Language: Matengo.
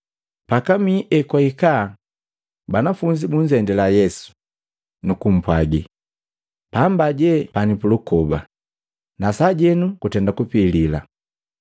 Pakamii ekwahika, banafunzi bunzendila Yesu, nukumpwagi, “Pandu je pani pulukoba, na sajenu kutenda kupilila.